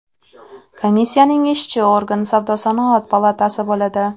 Komissiyaning ishchi organ Savdo-sanoat palatasi bo‘ladi.